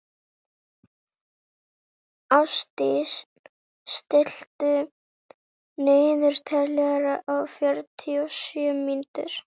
Ástdís, stilltu niðurteljara á fjörutíu og sjö mínútur.